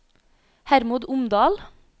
Hermod Omdal